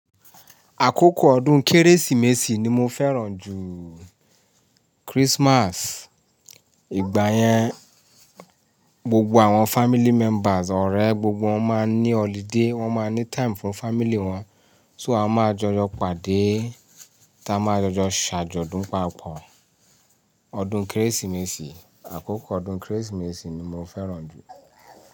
Àkókò ọdún Kérésìmesì ni mo fẹ́ràn jù Christmas. Ìgbà yẹn, gbogbo àwọn family members, ọ̀rẹ́, gbogbo wọn máa ń ní holiday, wọn máa ní time fún family wọn. Só a màá jọ lọ pàdé, ti a máa jọ jọ ṣàjọ̀dún papọ̀. Ọdún Kérésìmesì, àkókò ọdún Kérésìmesì ni mo fẹ́ràn jù.